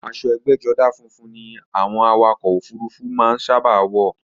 Aṣo ẹgbẹ́jọdá funfun ni àwọn awakọ̀ ọkò òfurufú sábà má ń wọ̀.